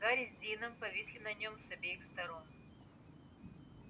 гарри с дином повисли на нём с обеих сторон